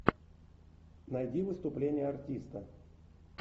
найди выступление артиста